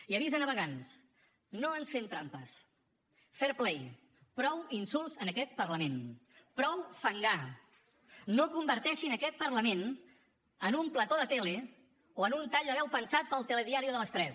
i avís a navegants no ens fem trampes fair play prou insults en aquest parlament prou fangar no converteixin aquest parlament en un plató de tele o en un tall de veu pensat per al telediario de les tres